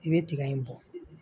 I bɛ tiga in bɔ